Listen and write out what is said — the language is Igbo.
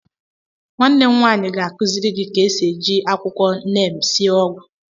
Nwanne m nwaanyị ga akụziri gị ka esi eji akwụkwọ neem sie ọgwụ